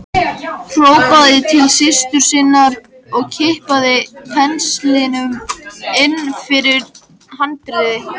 Hrópaði til systur sinnar að kippa penslinum inn fyrir handriðið.